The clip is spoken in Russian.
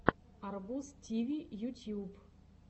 арбуз тиви ютьюб